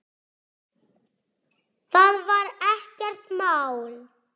Það var ekkert mál.